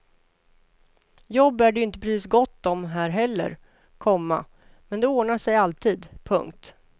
Jobb är det ju inte precis gott om här heller, komma men det ordnar sig alltid. punkt